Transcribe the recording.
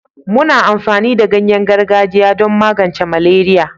muna amfani da ganyen gargajiya don magance maleria